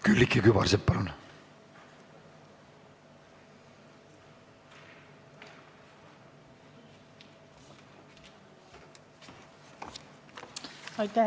Külliki Kübarsepp, palun!